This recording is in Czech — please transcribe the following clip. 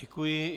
Děkuji.